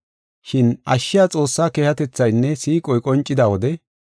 Shin ashshiya Xoossaa keehatethaynne siiqoy qoncida wode,